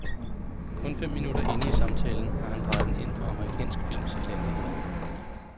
Kun fem minutter inde i samtalen har han drejet den ind på amerikansk films elendigheder.